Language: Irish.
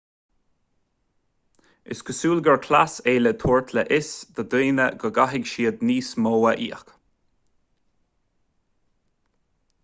is cosúil gur chleas é le tabhairt le fios do dhaoine go gcaithfidh siad níos mó a íoc